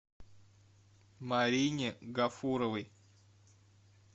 марине гафуровой